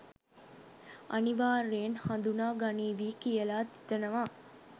අනිවාර්යෙන් හඳුනා ගනීවි කියලා හිතනවා.